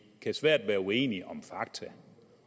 kan svært være uenige om fakta